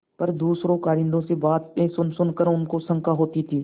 पर दूसरे कारिंदों से बातें सुनसुन कर उसे शंका होती थी